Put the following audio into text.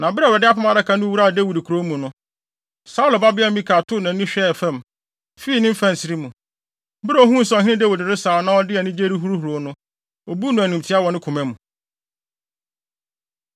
Na bere a Awurade Apam Adaka no wuraa Dawid kurow mu no, Saulo babea Mikal too nʼani hwɛɛ fam, fii ne mfɛnsere mu. Bere a ohuu sɛ ɔhene Dawid resaw na ɔde anigye rehuruhuruw no, obuu no animtiaa wɔ ne koma mu.